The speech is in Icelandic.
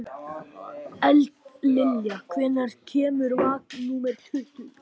Eldlilja, hvenær kemur vagn númer tuttugu?